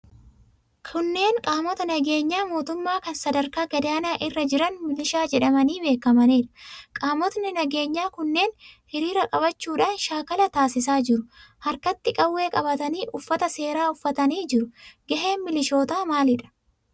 Kunneen qaamota nageenyaa mootummaa kan sadarkaa gadaanaa irra jiran milishaa jedhamanii beekamaniidha. Qaamotni nageenyaa kunneen hiriira qabachuudhaan shaakala taasisaa jiru. Harkatti qawwee qabatanii, uffata seeraa uffatanii jiru. Gaheen milishootaa maalidha?